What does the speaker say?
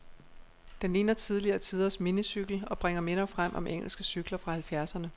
Den ligner tidligere tiders minicykel, og bringer minder frem om engelske cykler fra halvfjerdserne.